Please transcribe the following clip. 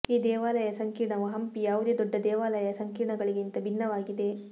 ಈ ದೇವಾಲಯ ಸಂಕೀರ್ಣವು ಹಂಪಿ ಯಾವುದೇ ದೊಡ್ಡ ದೇವಾಲಯ ಸಂಕೀರ್ಣಗಳಿಗಿಂತ ಭಿನ್ನವಾಗಿದೆ